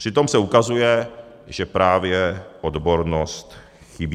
Přitom se ukazuje, že právě odbornost chybí.